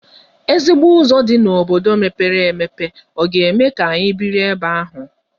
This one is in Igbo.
Ezigbo ụzọ dị n'obodo mepere emepe ọ ga-eme ka anyị biri ebe ahụ?